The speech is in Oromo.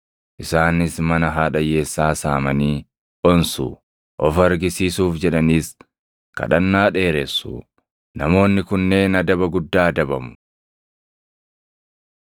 Isaanis mana haadha hiyyeessaa saamanii onsu; of argisiisuuf jedhaniis kadhannaa dheeressu. Namoonni kunneen adaba guddaa adabamu.”